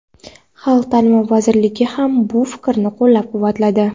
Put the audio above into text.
xalq ta’limi vazirligi ham bu fikrni qo‘llab-quvvatladi.